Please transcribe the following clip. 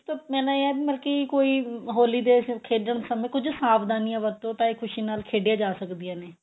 ਇੱਕ ਮੈਂ ਨਾ ਯਾਰ ਮਲਕੀ ਕੋਈ ਹੋਲੀ ਦੇ ਖੇਡਣ ਸਮੇਂ ਕੁਝ ਸਾਵਧਾਨੀਆਂ ਵਰਤੋਂ ਤਾਂ ਇਹ ਖੁਸ਼ੀ ਨਾਲ ਖੇਡੀਆਂ ਜਾ ਸਕਦੀਆਂ ਨੇ